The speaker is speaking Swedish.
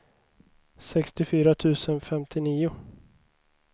sextiofyra tusen femtionio